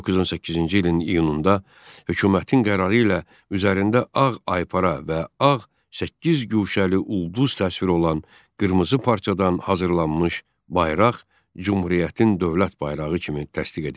1918-ci ilin iyununda hökumətin qərarı ilə üzərində ağ aypara və ağ səkkizguşəli ulduz təsviri olan qırmızı parçadan hazırlanmış bayraq Cümhuriyyətin dövlət bayrağı kimi təsdiq edildi.